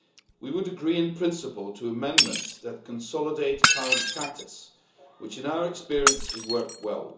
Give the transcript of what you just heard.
We would agree in principle to amendments that consolidate current practice, which in our experience has worked well.